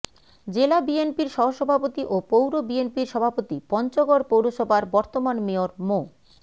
জেলা বিএনপির সহসভাপতি ও পৌর বিএনপির সভাপতি পঞ্চগড় পৌরসভার বর্তমান মেয়র মো